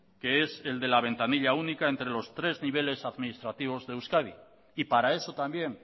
que es el de la ventanilla única entre los tres niveles administrativos de euskadi y para eso también